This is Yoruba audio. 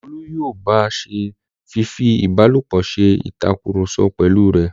Olú yóò ba se fífi ìbálòpọ̀ se ìtakùrọ̀sọ pẹ̀lú rẹ̀.